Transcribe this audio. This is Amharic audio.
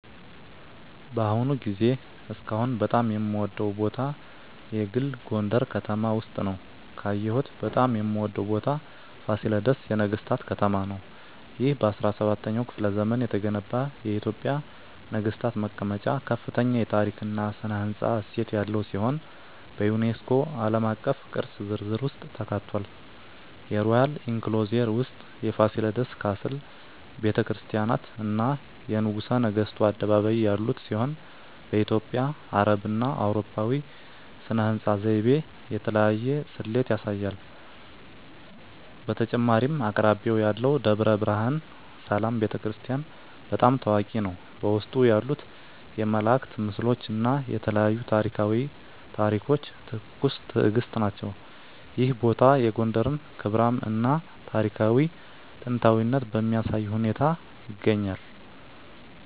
በአሁኑ ጊዜ እስካሁን በጣም የምወደዉ ቦታ የግል ጎንደረ ከተማ ውስጥ ነዉ። ካየሁት በጣም የምወደው ቦታ ፋሲለደስ የነገሥታት ከተማ ነው። ይህ በ17ኛው ክፍለ ዘመን የተገነባ የኢትዮጵያ ነገሥታት መቀመጫ ከፍተኛ የታሪክ እና ሥነ ሕንፃ እሴት ያለው ሲሆን፣ በዩኔስኮ ዓለም አቀፍ ቅርስ ዝርዝር ውስጥ ተካትቷል። የሮያል ኢንክሎዜር ውስጥ የፋሲለደስ ካስል፣ ቤተ ክርስቲያናት፣ እና የንጉሠ ነገሥቱ አደባባይ ያሉት ሲሆን፣ በኢትዮጵያ፣ አረብና አውሮፓዊ ሥነ ሕንፃ ዘይቤ የተለያየ ስሌት ያሳያል። በተጨማሪም አቅራቢያው ያለው ደብረ ብርሃን ሰላም ቤተ ክርስቲያን** በጣም ታዋቂ ነው፣ በውስጡ ያሉት የመላእክት ምስሎች እና የተለያዩ ታሪኳዊ ታሪኮች ትኩስ ትእግስት ናቸው። ይህ ቦታ የጎንደርን ክብራም እና ታሪካዊ ጥንታዊነት በሚያሳይ ሁኔታ ይገኛል።